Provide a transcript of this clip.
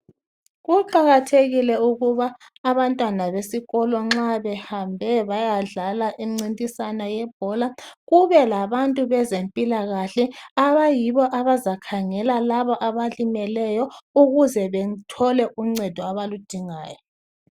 Kuqakathekile ukuba abantwana besikolo nxa behambe bayadlala imncintiswano yebhola kube labantu bezempila kahle abayibo abazakhangela laba abalimeleyo ukuze bethole uncedo abaludingayo.